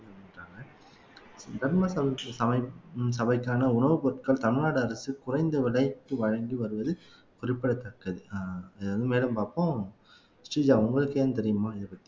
சொல்ராங்க தர்ம சமைக்கும் சபைக்கான உணவுப் பொருட்கள் தமிழ்நாடு அரசு குறைந்த விலைக்கு வழங்கி வருவது குறிப்பிடத்தக்கது அஹ் இத வந்து மேலும் பார்ப்போம் ஸ்ரீஜா உங்களுக்கு ஏன் தெரியுமா இதப்பத்தி